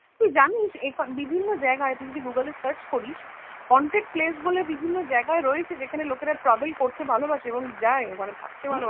তুই জানিস এই বিভিন্ন জায়গায় তুই যদি গুগলে search করিস, haunted place বলে বিভিন্ন জায়গায় রয়েছে যেখানে লোকেরা travel করতে ভালোবাসে এবং যাই ওখানে থাকতে ভালোবাসে